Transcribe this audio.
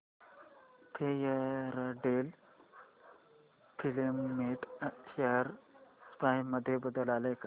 Fairdeal filament share price मध्ये बदल आलाय का